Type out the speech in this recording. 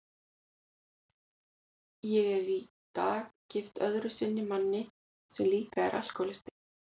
Ég er í dag gift öðru sinni manni sem líka er alkohólisti.